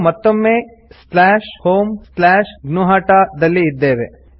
ನಾವು ಮತ್ತೊಮ್ಮೆ homegnuhata ದಲ್ಲಿ ಇದ್ದೇವೆ